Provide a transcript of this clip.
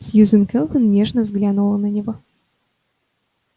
сьюзен кэлвин нежно взглянула на него